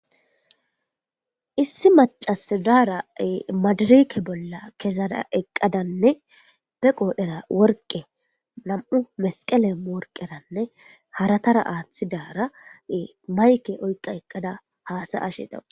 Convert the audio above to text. issi macas daaray maadirike bolla kesara eqqadanne be qoodhera worqe nam7u mesqele worqeranne haratara aathi daara mayke oyqa eqqada haasa ashe dawu